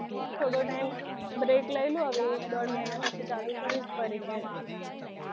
થોડો time break લઈ લઉં હવે એક દોઢ મહિનો પછી ચાલુ કરીશું.